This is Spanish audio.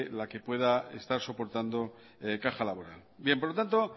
la que pueda estar soportando caja laboral por lo tanto